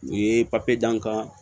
U ye papiye d'an kan